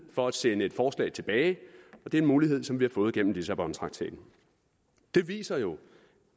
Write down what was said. for at sende et forslag tilbage og det er en mulighed som vi har fået gennem lissabontraktaten det viser jo